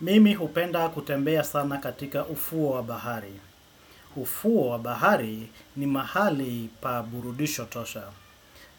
Mimi hupenda kutembea sana katika ufuo wa bahari. Ufuo wa bahari ni mahali pa burudisho tosha.